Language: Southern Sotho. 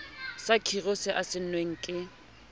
sa khiro se saennweng ke